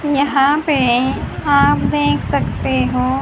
यहां पे आप देख सकते हो।